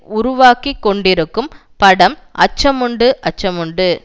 உருவாகி கொண்டிருக்கும் படம் அச்சமுண்டு அச்சமுண்டு